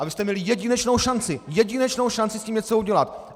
A vy jste měli jedinečnou šanci, jedinečnou šanci s tím něco udělat.